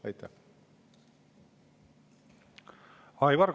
Aivar Kokk, palun!